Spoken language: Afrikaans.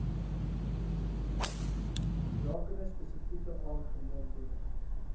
rakende spesifieke aangeleenthede